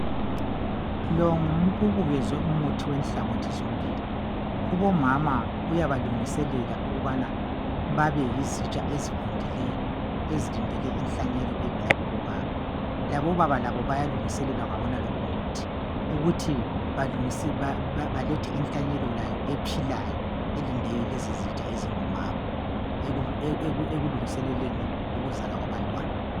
Kubukezwe umuthi wenhlangothi zombili. Kubomama uyabalungiselela ukubana babeyizitsha ezivundileyo ezilindele inhlanyelo evela kubobaba. Labobaba labo bayalungiselelwa ngalowumuthi ukuthi balethe inhlanyelo ephilayo elinde lezizitsha ezingomama ekulungiseleleni ukuzalwa kwabantwana.